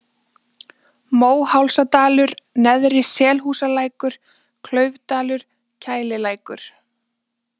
Móhálsadalur, Neðri-Selhúsalækur, Klaufdalur, Kælilækur